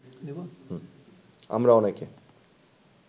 আমরা অনেকে